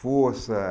Força.